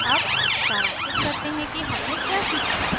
अब सारांशित करते हैं कि हमने क्या सीखा